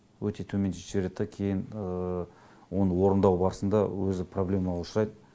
өте төмендетіп жібереді да кейін оны орындау барысында өзі проблемаға ұшырайды